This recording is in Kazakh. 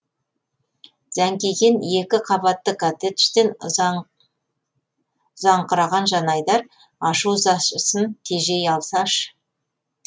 зәңкиген екі қабатты коттеджден ұзаңқыраған жанайдар ашу ызасын тежей алсашы